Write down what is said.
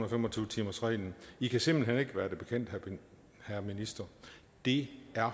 og fem og tyve timersreglen i kan simpelt hen ikke være det bekendt herre minister det er